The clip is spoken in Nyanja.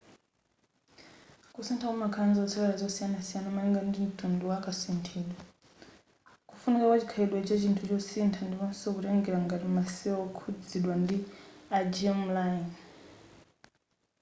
kusintha kumakhala ndi zotsatila zosiyana malingana ndi ntundu wa kasinthidwe kufunika kwa chikhalidwe cha chinthu chosintha ndiponso kutengela ngati ma cell okhuzidwa ndi a germ-line